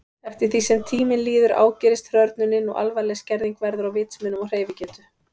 Eftir því sem tíminn líður ágerist hrörnunin og alvarleg skerðing verður á vitsmunum og hreyfigetu.